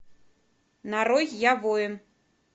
нарой я воин